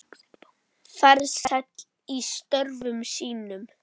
Farsæll í störfum sínum.